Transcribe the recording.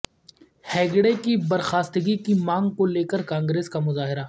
ہیگڑے کی برخاستگی کی مانگ کو لے کر کانگریس کا مظاہرہ